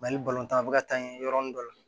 Mali a bɛ ka taa n ye yɔrɔnin dɔ la